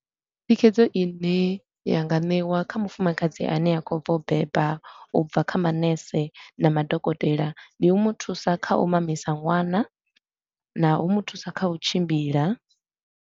Thikhedzo i ne ya nga ṋewa kha mufumakadzi a ne a khou bva u beba, u bva kha manese na madokotela, ndi u mu thusa kha u mamisa ṅwana na u mu thusa kha u tshimbila.